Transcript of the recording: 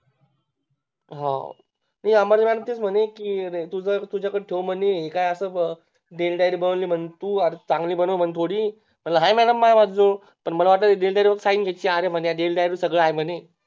हम्म अमर आणि ते म्हणे कि तुझ्या कड ठेव म्हणे हे असं काय Daily diary बनवली म्हणे तू थोडी चांगली बनव तू मी म्हटलं आहे हाय MAdam माह्या जवळ पण मला वाटलं या Daily diary वर Sign घ्यायची आहे म्हणे या